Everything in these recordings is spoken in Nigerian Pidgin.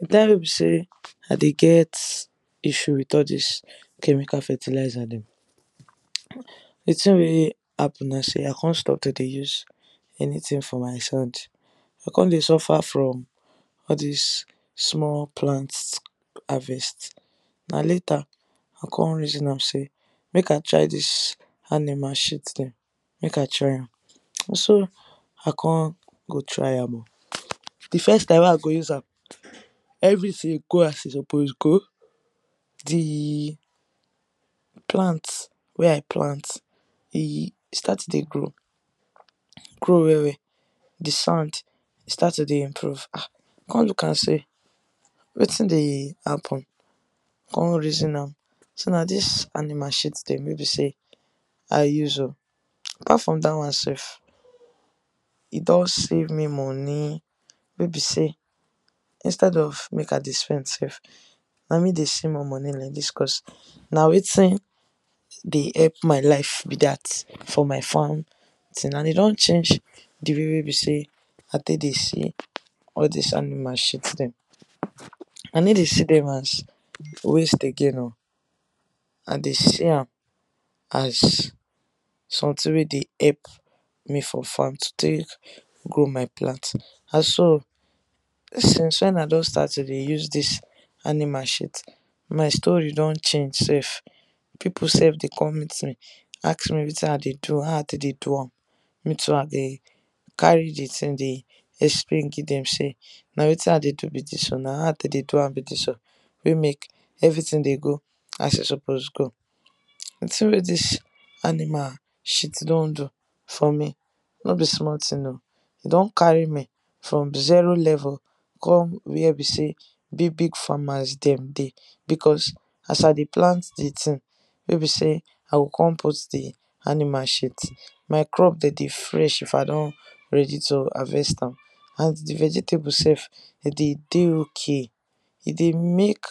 The time wey be say I de get issues with all this chemical fertiliser dem the tin wey happen na say I come stop to de use anything for my sand, I come de suffer from all this small plant harvest na later I come reason say make I try dis animal shit dem, make I try am na so I come go try am o, the first time wey I go use am everything go as e suppose go, d plant wey I plant e start to de grow grow well well, d sand e start to de improve um I come look am say wetin de happen? come reason am say na this animal shit dem wey be say I use am o. Apart from that one sef, e don save me money wey be say instead of make I de spend sef na me de see more money like this cause na wetin dey help my life be that for my farm tin, and e don change d way wey be say I take de see all this animal shit dem. I no de see them as waste again o, I de see am as something wey de epp me for farm to take grow my plant and so since when I don start to de use this animal shit, my story don change sef, people sef de come meet me ask me wetin I de do? how I take dey do am? me too I de carry d tin de explain give dem say na wetin I de do be this o, na how I take de do am be this o wey make everything de go as e suppose go. D thin wey dis animal shit don do for me no be small tin o, e don carry me from zero level come where be say big Big farmer dem de because as I de plant d tin wey be say I go come put d animal shit, my crop dem dey fresh if I don ready to harvest am and d vegetable sef e de dey okay e de make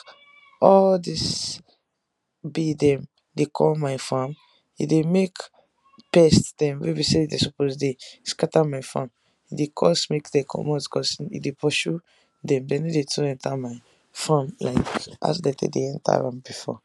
all dis bee dem de come my farm, e de make pest dem wey be say dem suppose de scatter my farm e dey cause make dem comot because e de pursue dem, dem no too enter my farm like as dem de enter before.